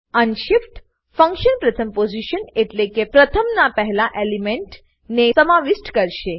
unshift function પ્રથમ position એટલેકે 1 ના પ્રથમના એલિમેન્ટને સમાવિષ્ઠ કરશે